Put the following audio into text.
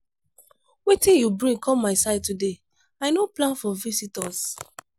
wetin bring you come my side today? i no plan for visitors.